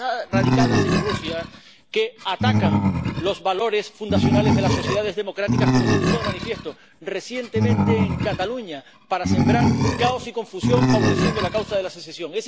radicadas en Rusia, que atacan los valores fundacionales de las sociedades democráticas, como se puso de manifiesto recientemente en Cataluña, para sembrar caos y confusión, favoreciendo la causa de la secesión.